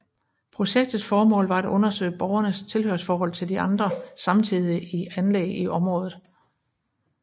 Projektets formål var at undersøge borgens tilhørsforhold til de andre samtidige anlæg i området